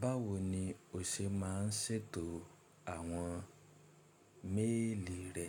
Báwo ni o ṣe máa ń ṣètò àwọn méèlì rẹ?